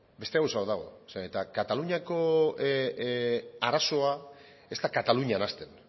beste gauza bat dago zeren eta kataluniako arazoa ez da katalunian hasten